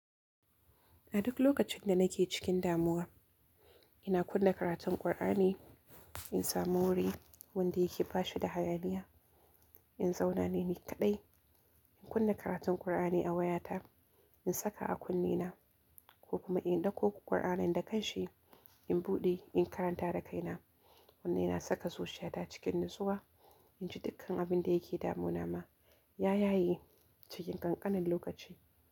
A duk lokacin da nake cikin damuwa, ina kunna karatun Kur'ani, in samu wuri wanda yake bashi da hayaniya, in zauna ni kaɗai, in kunna karatun Kur'ani a waya ta, in saka a kunni na ko kuma in ɗauko Kur'anin da kan shi, in buɗe in karanta da kai na. Wannan yana saka zuciyar ta a cikin natsuwa in ji dukkan abin da yake damu na ma ya yaye cikin ƙanƙanin lokaci.